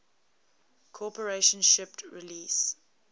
corporation shipped release